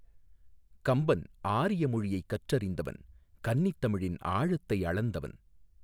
கம்பன் ஆரிய மொழியைக் கற்றறிந்தவன் கன்னித் தமிழின் ஆழத்தை அளந்தவன்.